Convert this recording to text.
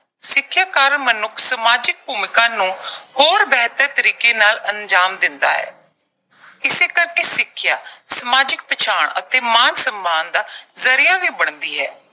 ਸਿੱਖਿਆ ਕਾਰਨ ਮਨੁੱਖ ਸਮਾਜਿਕ ਭੂਮਿਕਾ ਨੂੰ ਹੋਰ ਬਿਹਤਰ ਤਰੀਕੇ ਨਾਲ ਅੰਜ਼ਾਮ ਦਿੰਦਾ ਹੈ। ਇਸੇ ਕਰਕੇ ਸਿੱਖਿਆ, ਸਮਾਜਿਕ ਪਛਾਣ ਅਤੇ ਮਾਣ-ਸਨਮਾਨ ਦਾ ਜ਼ਰੀਆ ਵੀ ਬਣਦੀ ਹਾ।